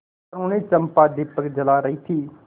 तरूणी चंपा दीपक जला रही थी